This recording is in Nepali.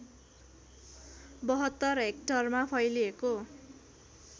७२ हेक्टरमा फैलिएको